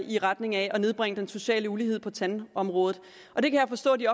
i retning af at nedbringe den sociale ulighed på tandområdet og det kan jeg forstå de